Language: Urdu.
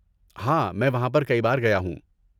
ہاں، میں وہاں پر کئی بار گیا ہوں۔